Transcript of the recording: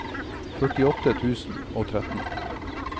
førtiåtte tusen og tretten